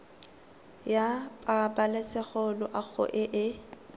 ya pabalesego loago e e